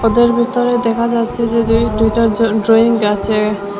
ভিতর ভিতরে দেখা যাচ্ছে যে দুই দুইটা জ ড্রয়িং আছে।